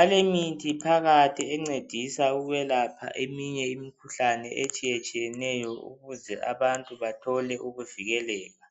alemithi phakathi encedisa ukwelapha eminye imikhuhlane etshiyetshiyeneyo ukuze abantu bathole ukuvikeleka